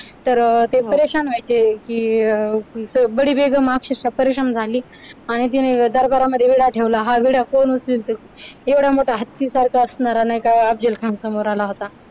तर ते व्हायचे तर की बडी बेगम अक्षरशा परेशान झाली आणि तिने दरबारामध्ये विडा ठेवला हा वेडा कोण उचलील एवढा मोठा हत्ती सारखा असणारा नाही का अफजलखान समोर आला होता.